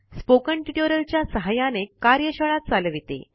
spoken tutorial च्या सहाय्याने कार्यशाळा चालविते